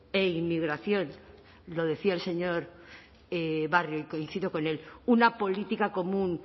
e inmigración lo decía el señor barrio y coincido con él una política común